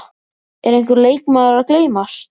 Er einhver leikmaður að gleymast?